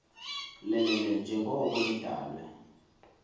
lelele njengoko nidalwe